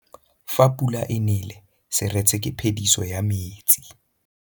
Fa pula e nelê serêtsê ke phêdisô ya metsi.